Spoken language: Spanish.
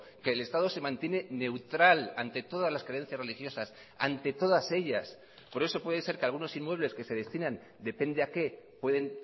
que el estado se mantiene neutral ante todas las creencias religiosas ante todas ellas por eso puede ser que algunos inmuebles que se destinan depende a qué pueden